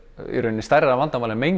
í rauninni stærra vandamál en mengun